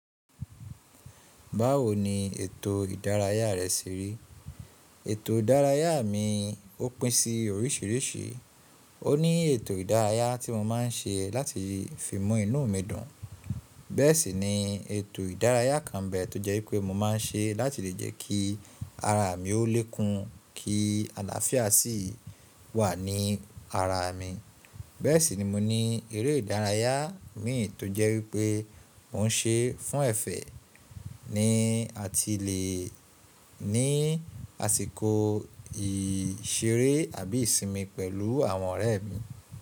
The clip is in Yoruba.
Báwo ni ètò ìdárayá rẹ ṣe rí? Ètò ìdárayá mi ó pín sí oríṣìíríṣìí. Ó ní ètò ìdárayá tí mo má n ṣe láti fi mú inú mi dùn. Bẹ́ẹ̀ sì ni ètò ìdárayá kan bẹ́ẹ̀ tó jẹ́ wípé mo má n ṣe láti lè jẹ́ kí ara mi ó lè kun kí àlàáfíà sì wà ní ara mi. Bẹ́ẹ̀ sì ni mo ní eré ìdárayá mi tó jẹ́ wípé mò ń ṣe fún ẹ̀fẹ̀ ni a ti le ní àsìkò ìṣeré àbí ìsinmi pẹ̀lú àwọn ọ̀rẹ́ mi.